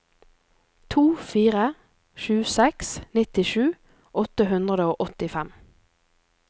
to fire sju seks nittisju åtte hundre og åttifem